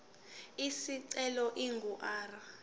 isicelo ingu r